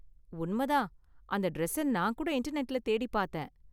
உண்ம தான், அந்த டிரஸ்ஸ நான் கூட இன்டர்நெட்ல தேடிப் பாத்தேன்.